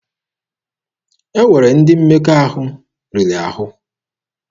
E nwere ndị mmekọahụ riri ahụ.